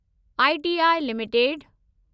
ITI limited